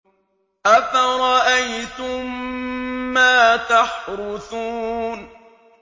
أَفَرَأَيْتُم مَّا تَحْرُثُونَ